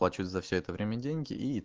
плачу за все это время деньги и